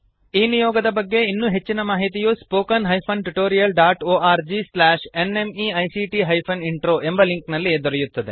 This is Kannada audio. ಈ ನಿಯೋಗದ ಬಗ್ಗೆ ಇನ್ನೂ ಹೆಚ್ಚಿನ ಮಾಹಿತಿಯು spoken hyphen tutorial dot O R G slash N M E I C T hyphen intro ಎಂಬ ಲಿಂಕ್ ನಲ್ಲಿ ದೊರೆಯುತ್ತದೆ